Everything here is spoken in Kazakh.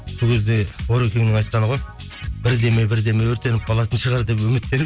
сол кезде орекеңнің айтқаны ғой бірдеме бірдеме өртеніп қалатын шығар деп үміттеніп